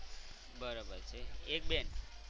બરોબર છે એક બેન